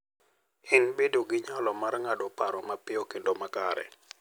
En bedo gi nyalo mar ng'ado paro mapiyo kendo makare.